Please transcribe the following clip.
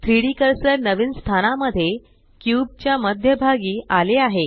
3डी कर्सर नवीन स्थानामध्ये क्यूब च्या मध्यभागी आले आहे